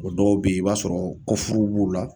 O dɔw be ye i b'a sɔrɔ kɔfuruw b'u la